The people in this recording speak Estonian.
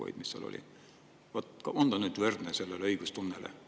On see nüüd võrreldav õigustundele?